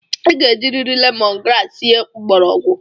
I ga-ejiriri lemon grass sie mgbọrọgwụ!